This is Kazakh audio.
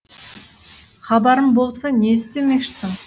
хабарым болса не істемекшісің